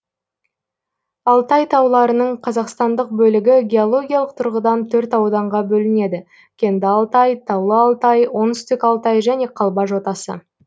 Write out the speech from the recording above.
алтай тауларының қазақстандық бөлігі геологиялық тұрғыдан төрт ауданға бөлінеді кенді алтай таулы алтай оңтүстік алтай және қалба жотасы